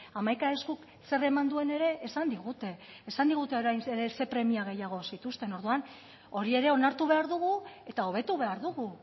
hamaika eskuk zer eman duen ere esan digute esan digute orain zein premia gehiago zituzten orduan hori ere onartu behar dugu eta hobetu behar dugu